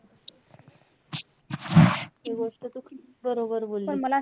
हि गोष्ट तू खूप बरोबर बोललीस.